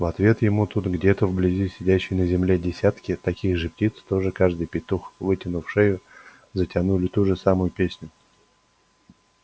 в ответ ему тут где-то вблизи сидящие на земле десятки таких же птиц тоже каждый петух вытянув шею затянули ту же самую песню